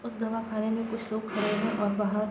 उस दवा खाने में कुछ लोग खड़े हैं और बाहर --